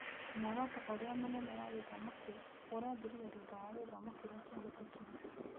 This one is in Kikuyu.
Muoroto ũrĩa mũnene wa gĩthomo kĩu, ũrathirire thutha wa gĩthomo kĩrĩa kĩahĩtũkire.